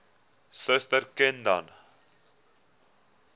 suster ken dan